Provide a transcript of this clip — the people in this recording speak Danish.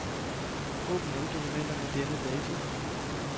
Åbn alle dokumenter med denne dato.